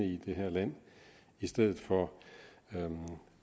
i det her land i stedet for